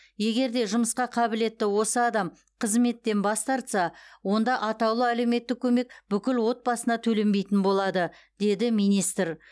егер де жұмысқа қабілетті осы адам қызметтен бас тартса онда атаулы әлеуметтік көмек бүкіл отбасына төленбейтін болады деді министр